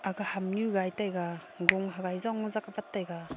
kha ham nyu gai taiga gong hagai jong jakwah taga.